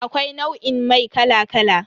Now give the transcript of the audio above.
Akwai nau'in mai kala kala.